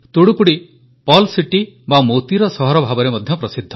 Thoothukudi pearl city ବା ମୋତିର ସହର ଭାବରେ ମଧ୍ୟ ପ୍ରସିଦ୍ଧ